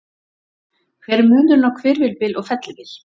Hver er munurinn á hvirfilbyl og fellibyl?